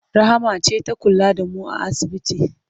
Rahama ce ta kula da mu a asibiti.